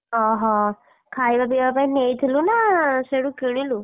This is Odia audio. ଅହ, ଖାଇବା ପିଇବା ପାଇଁ ନେଇଥିଲୁ ନା ସିଆଡୁ କିଣିଲୁ?